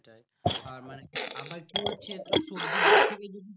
আর মানে কি হচ্ছে